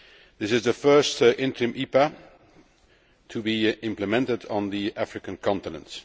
This is the first interim EPA to be implemented on the African continent.